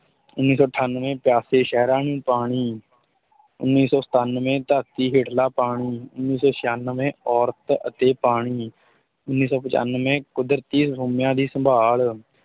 ਉੱਨੀ ਸੌ ਅਠਾਨਵੇਂ ਪਿਆਸੇ ਸਹਿਰਾਂ ਨੂੰ ਪਾਣੀ ਉੱਨੀ ਸੌ ਸਤਾਨਵੇਂ ਧਰਤੀ ਹੇਠਲਾ ਪਾਣੀ, ਉੱਨੀ ਸੌ ਛਿਆਨਵੇਂ ਔਰਤ ਅਤੇ ਪਾਣੀ, ਉੱਨੀ ਸੌ ਪਚਾਨਵੇਂ ਕੁਦਰਤੀ ਸੋਮਿਆਂ ਦੀ ਸੰਭਾਲ